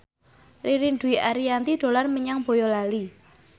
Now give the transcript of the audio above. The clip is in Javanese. Ririn Dwi Ariyanti dolan menyang Boyolali